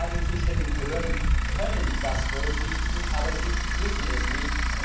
Ja, die zuständigen Behörden können das berücksichtigen, aber sie müssen es nicht.